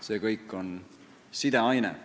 See kõik on sideaine.